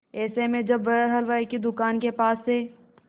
ऐसे में जब वह हलवाई की दुकान के पास से